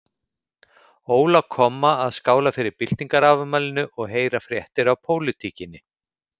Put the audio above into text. Óla komma að skála fyrir byltingarafmælinu og heyra fréttir af pólitíkinni.